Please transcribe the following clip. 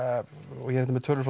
er hérna með tölur frá